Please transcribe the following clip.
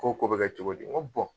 K'o ko bɛ kɛ cogo di n ko